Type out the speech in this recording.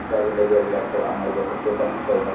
tribal area ଗୁଡାକ ଆମ area totally tribal